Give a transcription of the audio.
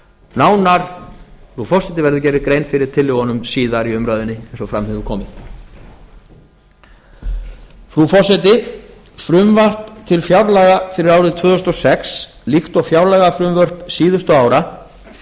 nánar frú forseti verður gerð grein fyrir tillögunum síðar í umræðunum eins og fram hefur komið frú forseti frumvarp til fjárlaga fyrir árið tvö þúsund og sex líkt og fjárlagafrumvörp síðustu ára